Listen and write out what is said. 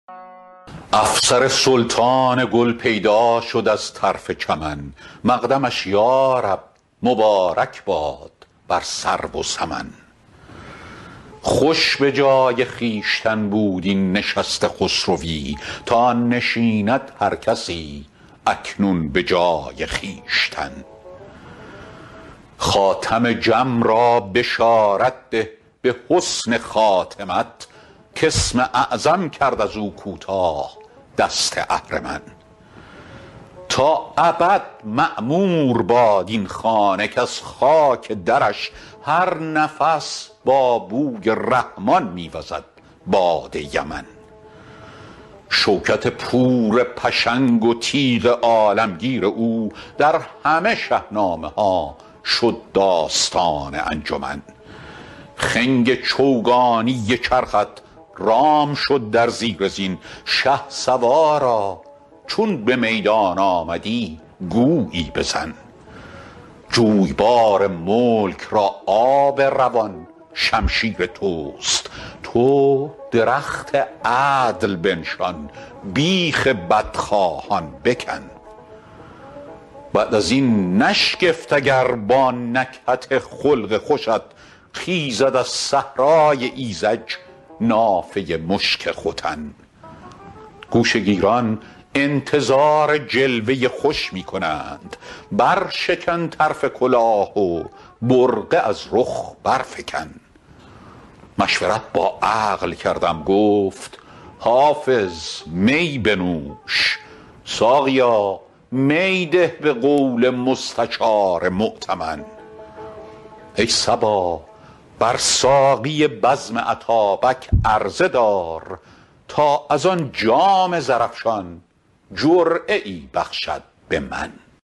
افسر سلطان گل پیدا شد از طرف چمن مقدمش یا رب مبارک باد بر سرو و سمن خوش به جای خویشتن بود این نشست خسروی تا نشیند هر کسی اکنون به جای خویشتن خاتم جم را بشارت ده به حسن خاتمت کاسم اعظم کرد از او کوتاه دست اهرمن تا ابد معمور باد این خانه کز خاک درش هر نفس با بوی رحمان می وزد باد یمن شوکت پور پشنگ و تیغ عالمگیر او در همه شهنامه ها شد داستان انجمن خنگ چوگانی چرخت رام شد در زیر زین شهسوارا چون به میدان آمدی گویی بزن جویبار ملک را آب روان شمشیر توست تو درخت عدل بنشان بیخ بدخواهان بکن بعد از این نشگفت اگر با نکهت خلق خوشت خیزد از صحرای ایذج نافه مشک ختن گوشه گیران انتظار جلوه خوش می کنند برشکن طرف کلاه و برقع از رخ برفکن مشورت با عقل کردم گفت حافظ می بنوش ساقیا می ده به قول مستشار مؤتمن ای صبا بر ساقی بزم اتابک عرضه دار تا از آن جام زرافشان جرعه ای بخشد به من